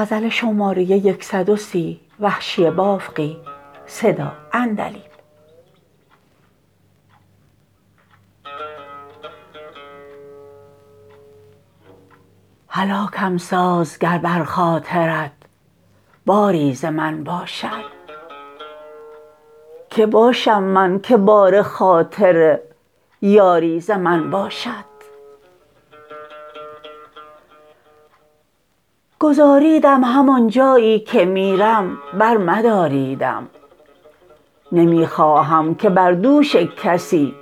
هلاکم ساز گر بر خاطرت باری ز من باشد که باشم من که بار خاطر یاری ز من باشد گذاریدم همانجایی که میرم بر مداریدم نمی خواهم که بر دوش کسی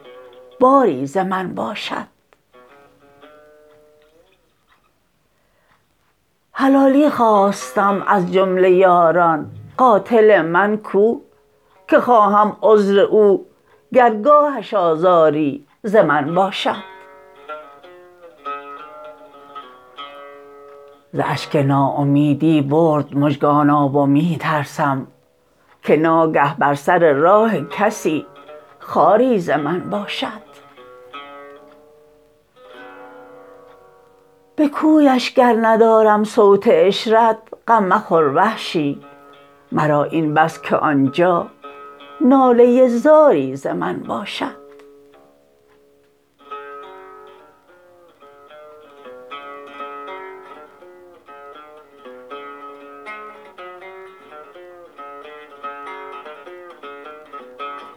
باری ز من باشد حلالی خواستم از جمله یاران قاتل من کو که خواهم عذر او گر گاهش آزاری ز من باشد ز اشک ناامیدی برد مژگان آب و می ترسم که ناگه بر سر راه کسی خاری ز من باشد به کویش گر ندارم صوت عشرت غم مخور وحشی مرا این بس که آنجا ناله زاری ز من باشد